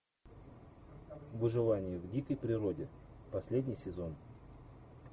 выживание в дикой природе последний сезон